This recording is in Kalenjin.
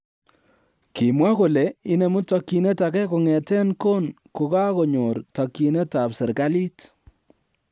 Kimwa kole inemu tokyinet age kong'eten kon kogakonyor tokyinet ab serkalit.